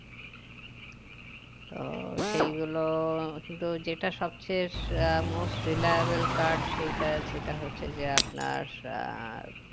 তো সেই গুলো কিন্তু যেটা সবচেয়ের আহ most reliable card সেইটা সেটা হচ্ছে যে আপনার আহ